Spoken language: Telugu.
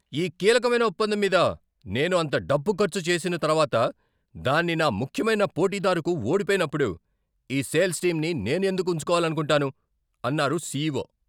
ఈ కీలకమైన ఒప్పందం మీద నేను అంత డబ్బు ఖర్చు చేసిన తర్వాత దాన్ని నా ముఖ్యమైన పోటీదారుకు ఓడిపోయినప్పుడు ఈ సేల్స్ టీమ్ని నేను ఎందుకు ఉంచుకోవాలనుకుంటాను, అన్నారు సీఈఓ.